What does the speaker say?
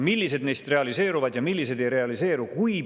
Millised neist realiseeruvad ja millised ei realiseeru?